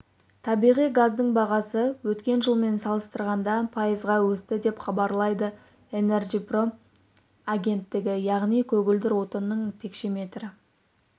табиғи газдың бағасы өткен жылмен салыстырғанда пайызға өсті деп хабарлайды энерджипром агенттігі яғни көгілдір отынның текшеметрі